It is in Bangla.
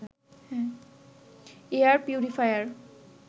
air purifier